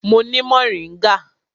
Mo ni moringa.